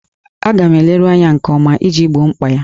Ọ ga na-eleru anya nke ọma iji gboo mkpa ya.